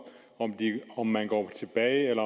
om man går tilbage